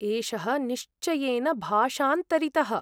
एषः निश्चयेन भाषाऽन्तरितः।